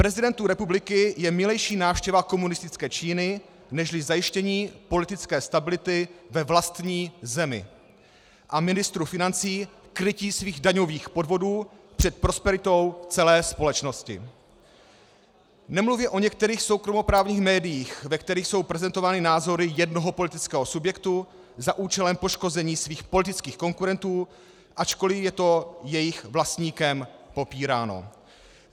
Prezidentu republiky je milejší návštěva komunistické Číny nežli zajištění politické stability ve vlastní zemi a ministru financí krytí svých daňových podvodů před prosperitou celé společnosti, nemluvě o některých soukromoprávních médiích, ve kterých jsou prezentovány názory jednoho politického subjektu za účelem poškození svých politických konkurentů, ačkoliv je to jejich vlastníkem popíráno.